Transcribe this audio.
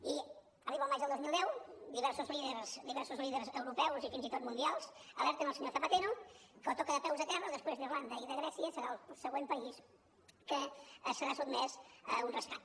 i arriba el maig del dos mil deu diversos líders europeus i fins i tot mundials alerten el senyor zapatero que o toca de peus a terra o després d’irlanda i de grècia serà el següent país que serà sotmès a un rescat